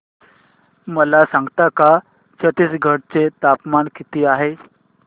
मला सांगता का छत्तीसगढ चे तापमान किती आहे